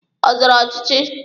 Ọ zọrọ ọchịchị?